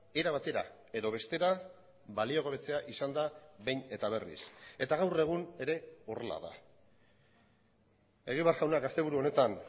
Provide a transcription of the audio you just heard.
era batera edo bestera baliogabetzea izan da behin eta berriz eta gaur egun ere horrela da egibar jaunak asteburu honetan